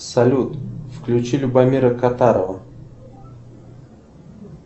салют включи любомира катарова